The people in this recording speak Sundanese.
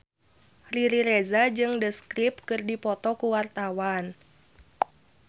Riri Reza jeung The Script keur dipoto ku wartawan